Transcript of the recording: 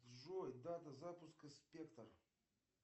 джой дата запуска спектр